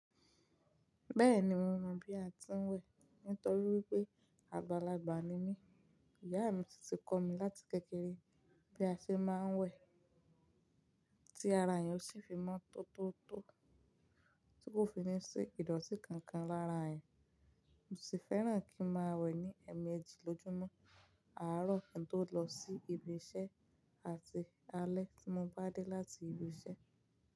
Bẹ́ẹ̀ni mo mọ bí a ti ń wẹ̀ nítorí wípé àgbàlagbà ni mí. Ìyá mi sì ti kọ́ mi láti kékeré bí a ṣe máa ń wẹ̀ tí ara ènìyàn sì fi mọ́ tótótó tí kò fi ní ṣe ìdọ̀tí kankan lára ẹ̀. Mo sì fẹ́ràn kí n máa wẹ̀ ní ẹ̀ẹ̀mẹjì lójúmọ́, àárọ̀ kín tó lọ sí ibi iṣẹ́ àti alẹ́ tí mo bá dé láti ibi iṣẹ́